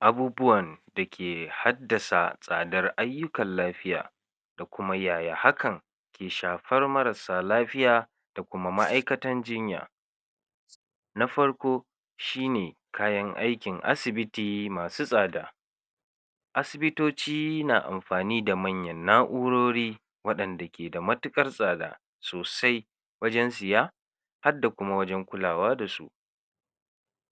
Abubuwan dake haddasa tsadar ayyukan lafiya da kuma yaya hakan ke shafar marassa lafiya da kuma ma'aikatan jinya, na farko: Shine kayan aikin asibiti masu tsada, asibitoci na amfani da manyan na'u'rori waɗanda keda matiƙar tsada sosai wajen siya hadda kuma wajen kulawa da su,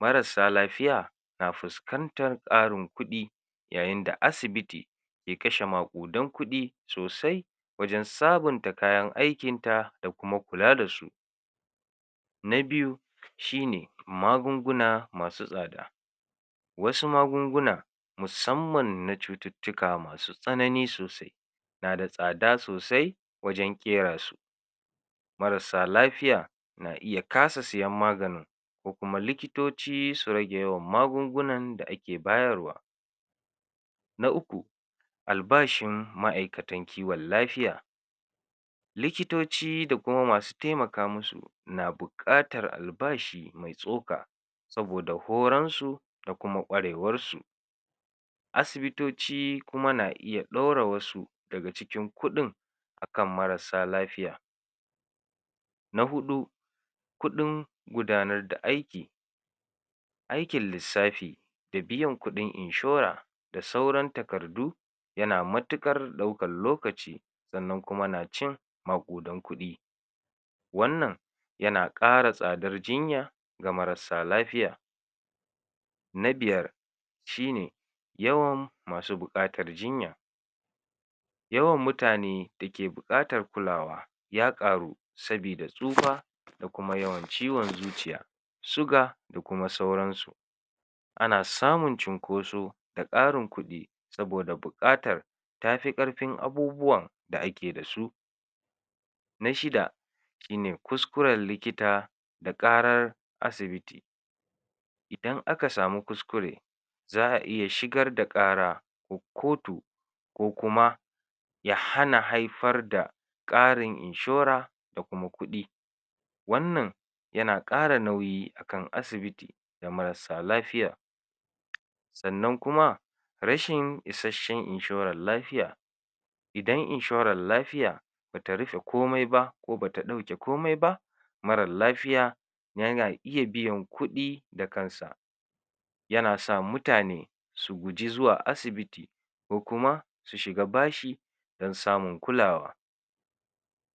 marassa lafiya na fuskantar ƙarin kuɗi yayinda asibiti ke kashe maƙudan kuɗin sosai wajen sabinta kayan aikinta da kuma kula da su. Na biyu: Shine magunguna masu tsada wasu magungunan musamman na cututtika masy tsanani sosai nada tsada sosai wajen ƙera su, marassa lafiya na iya kasa sayen maganin ko kuma likitoci su rage yawan magungunan da ake bayarwa. Na uku: Albashin ma'aikatan kiwan lafiya, likitoci da kuma masu temaka musu na buƙatar albashi mai tsoka, saboda horansu da kuma ƙwarewarsu, asibitoci kuma na iya ɗaura wasu daga cikin kuɗin akan marassa lafiya. Na huɗu: Kuɗin gudanar da aiki aikin lissafi da biyan kuɗin inshora da sauran takardu yana matuƙar ɗaukal lokaci sannan kuma na cin maƙudan kuɗi, wannan yana ƙara tsadar jinya ga marassa lafiya. Na biyar: Shine; Yawan masu buƙatar jinya, yawan mutane da ke buƙatar kulawa ya ƙaru sabida tsufa da kuma yawan ciwon zuciya, suga da kuma sauransu, ana samun cunkoso da ƙarin kuɗi saboda buƙatar tafi ƙarfin abubuwan da ake da su. Na shida: Shine: Kuskuren likita da ƙarar asibiti, idan aka samu kuskure za'a iya shigar da ƙara wa kotu ko kuma ya hana haifar da ƙarin inshora da kuma kuɗi, wannan yana ƙara nauyi a kan asibiti da marassa lafiya, sannan kuma rashin isashshen inshoran lafiya, idan inshoral lafiya bata rufe komai ba ko bata ɗauke komai ba, maral lafiya yana iya biya kuɗi da kansa yana sa mutane su guji zuwa asibiti, ko kuma su shiga bashi dan samun kulawa.